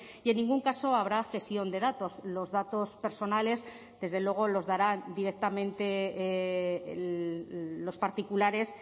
y en ningún caso habrá cesión de datos los datos personales desde luego los darán directamente los particulares